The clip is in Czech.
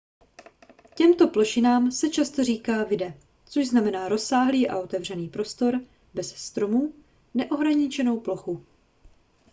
těmto plošinám se často říká vidde což znamená rozsáhlý a otevřený prostor bez stromů neohraničenou plochu